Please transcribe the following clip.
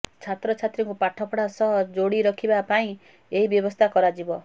ଛାତ୍ରଛାତ୍ରୀଙ୍କୁ ପାଠପଢ଼ା ସହ ଯୋଡ଼ି ରଖିବା ପାଇଁ ଏହି ବ୍ୟବସ୍ଥା କରାଯିବ